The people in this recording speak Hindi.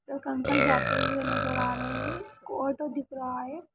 एक अंकल जाते हुए नजर आ रहे हैं। एक ऑटो दिख रहा है।